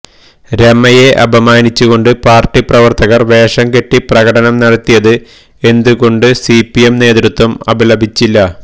രമയെ അപമാനിച്ചുകൊണ്ട് പാര്ട്ടി പ്രവര്ത്തകര് വേഷം കെട്ടി പ്രകടനം നടത്തിയത് എന്തുകൊണ്ട് സി പി എം നേതൃത്വം അപലപിച്ചില്ല